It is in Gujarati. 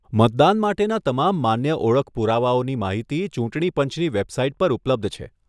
મતદાન માટેના તમામ માન્ય ઓળખ પુરાવાઓની માહિતી ચૂંટણી પંચની વેબસાઇટ પર ઉપલબ્ધ છે.